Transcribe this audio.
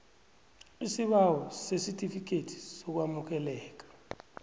isibawo sesitifikethi sokwamukeleka